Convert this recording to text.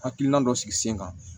Hakilina dɔ sigi sen kan